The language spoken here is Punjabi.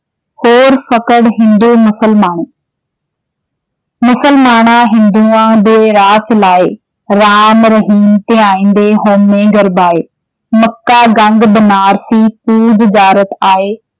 ਹੋਰ ਹਿੰਦੂ ਮੁਸਲਮਾਨ ਮੁਸਲਮਾਣਾ-ਹਿੰਦੂਆਂ, ਦੁਇ ਰਾਹ ਚਲਾਏ॥ ਰਾਮ, ਰਹੀਮ ਧਿਆਇਂਦੇ, ਹਉਮੈ ਗਰਬਾਏ॥ ਮੱਕਾ, ਗੰਗ, ਬਨਾਰਸੀ, ਪੂਜ ਜਾਰਤ ਆਏ॥ ਰੋਜੇ, ਵਰਤ, ਨਵਾਜ ਕਰਿ, ਡੰਡਉਤ ਕਰਾਏ॥ ਗੁਰ ਸਿਖ ਰੋਮ ਨ ਪੁਜਨੀ, ਜੇ ਆਪ ਗਵਾਏ॥